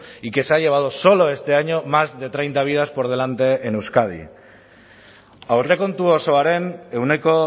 y que se ha llevado solo este año más de treinta vidas por delante en euskadi aurrekontu osoaren ehuneko